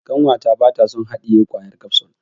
Ƙanwata bata son haɗiye kwayar kafsul.